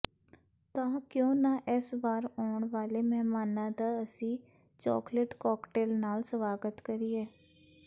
ਤਾਂ ਕਿਉਂ ਨਾ ਇਸ ਵਾਰ ਆਉਣ ਵਾਲੇ ਮਹਿਮਾਨਾਂ ਦਾ ਅਸੀ ਚੌਕਲੇਟ ਕੌਕਟੇਲ ਨਾਲ ਸਵਾਗਤ ਕਰੀਏ